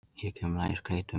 Hér kemur lagið SKREYTUM.